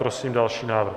Prosím další návrh.